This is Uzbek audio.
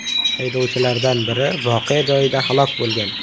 Haydovchilardan biri voqea joyida halok bo‘lgan.